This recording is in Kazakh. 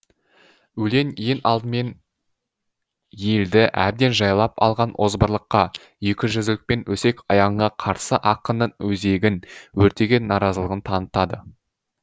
өлең ең алдымен елді әбден жайлап алған озбырлыққа екіжүзділік пен өсек аяңға қарсы ақынның өзегін өртеген наразылығын танытады